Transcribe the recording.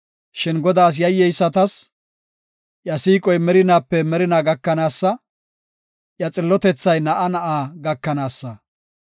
Shin Godaas yayyeysatas iya siiqoy merinaape merinaa gakanaasa; iya xillotethay na7a na7a gakanaasa.